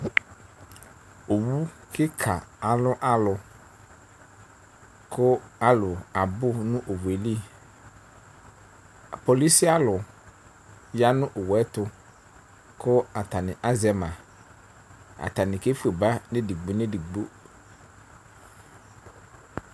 Owv kika alʋ alʋ, kʋ alʋ abʋnʋ owʋeli. Polʋci alʋ yanʋ owʋɛtʋ kʋ atani azɛ ma, atanl kefue ba nʋ edigbo nʋ edigbo.